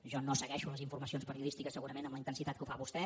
jo no segueixo les informacions periodístiques segurament amb la intensitat que ho fa vostè